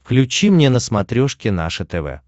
включи мне на смотрешке наше тв